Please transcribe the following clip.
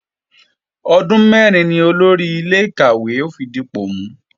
Ọdún mẹ́rin ni Olórí ilé-ìkàwé ó fi dipò mú